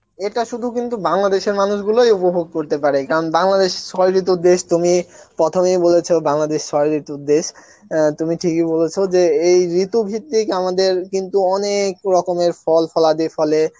এটা শুধু কিন্তু বাংলাদেশের মানুষ গুলোই উপভোগ করতে পারে কারণ বাংলাদেশ ছয় ঋতুর দেশ তুমি প্রথমেই বলেছ বাংলাদেশ ছয় ঋতুর দেশ অ্যাঁ তুমি ঠিকই বলেছ যে এই ঋতুভিত্তিক আমাদের কিন্তু অনেক রকমের ফল ফলাদি ফলে